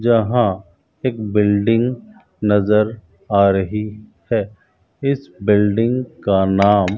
जहाँ एक बिल्डिंग नजर आ रही हैं इस बिल्डिंग का नाम --